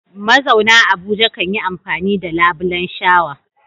Mazauna Abuja kan yi amfani da labulen shawa.